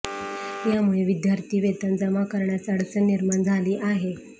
यामुळे विद्यार्थी वेतन जमा करण्यास अडचण निर्माण झाली आहे